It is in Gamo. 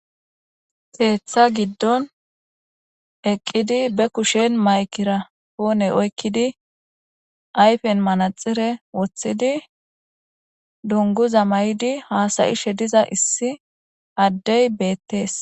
Teetha giddon eqqidi be kushen maykira poone oykkidi ayfen manaxire woththidi dunguza may7idi haasayishe diza issi addey beettees